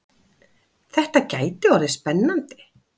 Þetta gæti orðið spennandi!